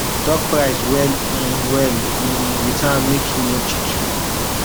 talk price well um well um with am make e no cheat you